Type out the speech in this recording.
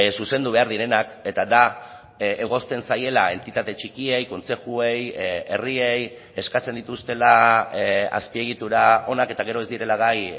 zuzendu behar direnak eta da egozten zaiela entitate txikiei kontzejuei herriei eskatzen dituztela azpiegitura onak eta gero ez direla gai